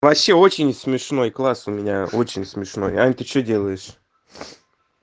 вообще очень смешной класс у меня очень смешной аня ты что делаешь